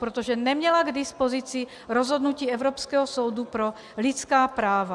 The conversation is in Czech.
Protože neměla k dispozici rozhodnutí Evropského soudu pro lidská práva.